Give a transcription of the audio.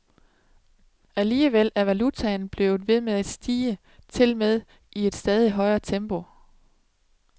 Alligevel er valutaen blevet ved med at stige, tilmed i et stadigt højere tempo.